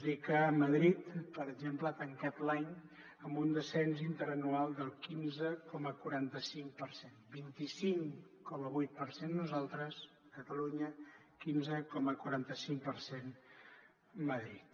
dir que madrid per exemple ha tancat l’any amb un descens interanual del quinze coma quaranta cinc per cent vint cinc coma vuit per cent nosaltres catalunya quinze coma quaranta cinc per cent madrid